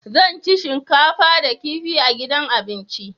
Zan ci shinkafa da kifi a gidan abinci.